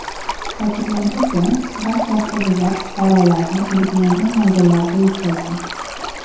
Ta’kidlanishicha, barcha avtobuslar fuqarolarni belgilangan manzillarga yetkazgan.